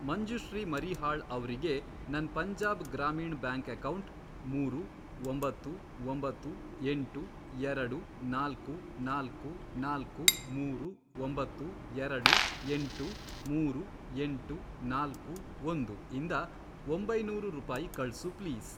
ಮಂಜುಶ್ರೀ ಮರೀಹಾಳ್ ಅವ್ರಿಗೆ ನನ್ Punjab Gramin bank account, ಮೂರು, ಒಂಬತ್ತು, ಒಂಬತ್ತು, ಎಂಟು, ಎರಡು, ನಾಲ್ಕು, ನಾಲ್ಕು, ನಾಲ್ಕು, ಮೂರು, ಒಂಬತ್ತು, ಎರಡು, ಎಂಟು, ಮೂರು, ಎಂಟು, ನಾಲ್ಕು, ಒಂದು, ಇಂದ ಒಂಬೈನೂರು ರೂಪಾಯಿ ಕಳ್ಸು ಪ್ಲೀಸ್.